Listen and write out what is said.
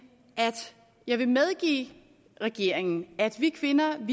at jeg vil medgive regeringen at vi kvinder jo